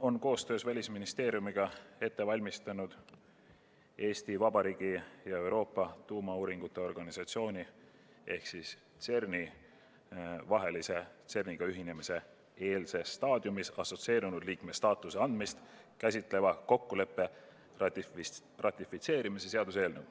on koostöös Välisministeeriumiga ette valmistanud Eesti Vabariigi ja Euroopa Tuumauuringute Organisatsiooni vahelise CERN-iga ühinemise eelses staadiumis assotsieerunud liikme staatuse andmist käsitleva kokkuleppe ratifitseerimise seaduse eelnõu.